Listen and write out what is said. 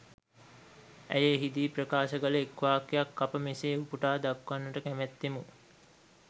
ඇය එහිදී ප්‍රකාශ කල එක් වාක්‍යයක් අප මෙසේ උපුටා දක්වන්නට කැමැත්තෙමු.